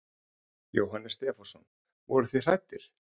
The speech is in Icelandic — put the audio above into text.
Jóhannes Stefánsson: Voruð þið hræddir?